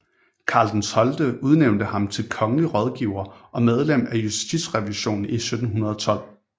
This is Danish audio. Karl XII udnævnte ham til kongelig rådgiver og medlem af Justitierevisionen i 1712